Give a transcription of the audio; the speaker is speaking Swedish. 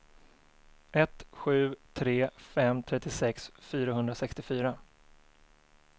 ett sju tre fem trettiosex fyrahundrasextiofyra